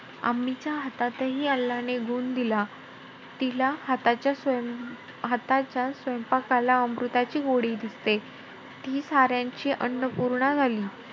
च्या हातातही अल्लाने गुण दिला. तिला हाताच्या स्वयपां~ हाताच्या स्वयपांकाला अमृताची गोडी दिसते. ती साऱ्यांची अन्नपूर्णा झाली.